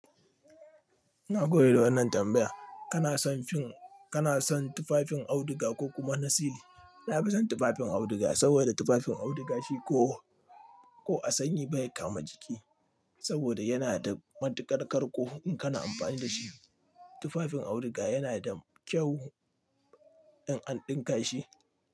Nagode da wannan tambaya. Kana son fin, kana son tufafin auduga ko kuma nasili? Na fi son tufafin auduga saboda tufafin auduga shi ko, ko a sanyi bai kama jiki saboda yana da matuƙar karko in kana amfani da shi. Tufafin auduga yana da kyau in an ɗinka shi.